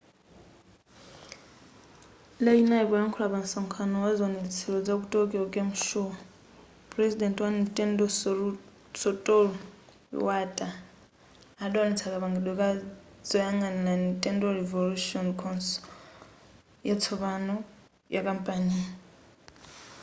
lachinayi poyankhula pa msonkhano waziwonetsero zaku tokyo game show pulezidenti wa nintendo satoru iwata adawonetsa kapangidwe ka zoyang'anira nintendo revolution console yatsopano yakampaniyi